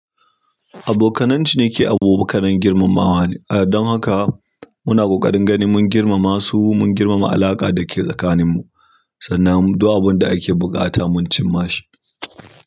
Abokanan ciniki abokanan girmamawa ne. Don haka muna ƙoƙarin ganin mun girmama su mun girmama alaƙa da ke tsakaninmu. Sannan duk abun da ake buƙata mun cim ma shi.